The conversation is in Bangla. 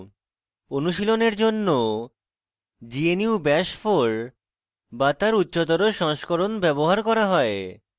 অনুশীলনের জন্য gnu bash 4 bash তার উচ্চতর সংস্করণ ব্যবহার করা হয়